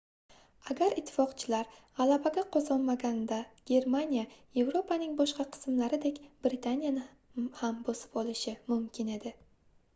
agar ittifoqchilar gʻalabaga qozonmaganida germaniya yevropaning boshqa qismlaridek britaniyani ham bosib olishi mumkin edi